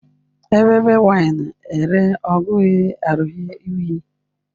Evbe wine ẹre ọ ghi rhie uyi